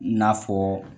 N'a fɔ